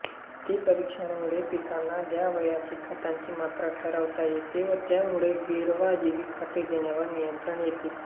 माती परीक्षणामुळे पिकांना द्यावयाच्या खताची मात्रा ठरवता येते व त्यामुळे गैरवाजवी खते देण्यावर नियंत्रण येते